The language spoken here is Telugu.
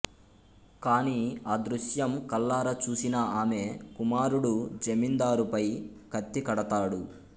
కాని ఆ దృశ్యం కళ్ళారా చూసిన ఆమె కుమారుడు జమీందారుపై కత్తికడతాడు